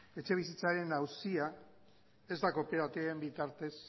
etxebizitzaren auzia ez da kooperatiben bitartez